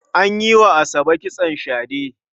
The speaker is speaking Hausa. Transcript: An yi wa Asabe kitson shade.